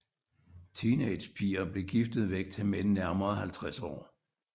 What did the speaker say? Teenagerpiger blev giftet væk til mænd nærmere 50 år